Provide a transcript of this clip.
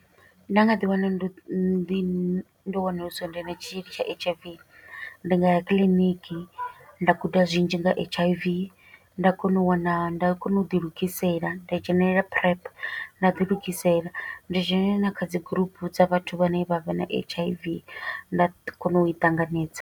Nda nga ḓi wana ndo ndi, ndo wanulusa ndi na tshitzhili tsha H_I_V, ndi nga ya kiḽiniki. Nda guda zwinzhi nga H_I_V, nda kona u wana, nda kona u ḓi lugisela. Nda dzhenelela PrEP, nda ḓi lugisela. Ndi dzhene na kha dzi gurupu dza vhathu vhane vha vha na H_I_V, nda kona u i ṱanganedza.